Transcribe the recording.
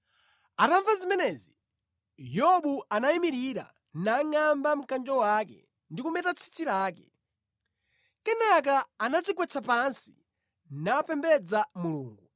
Atamva zimenezi, Yobu anayimirira nangʼamba mkanjo wake, ndi kumeta tsitsi lake. Kenaka anadzigwetsa pansi napembedza Mulungu,